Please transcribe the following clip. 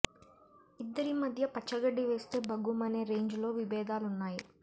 ఇద్దరి మధ్య పచ్చ గడ్డి వేస్తే భగ్గుమనే రేంజ్ లో విభేదాలున్నాయి